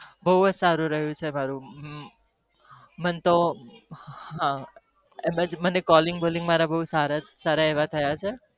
બહુજ સારું રહ્યું છે calling bolling બો સારા છે સારા એવા થયા છે